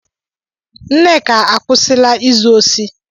Nneka akwụsịla izu osi.